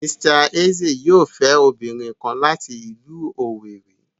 Mr Eze yoo fẹ obinrin kan lati ilu Owerri